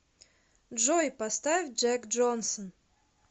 джой поставь джек джонсон